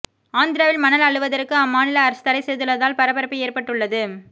ஆந்திராவில் மணல் அள்ளுவதற்கு அம்மாநில அரசு தடை செய்துள்ளதால் பரபரப்பு ஏற்பட்டுள்ளது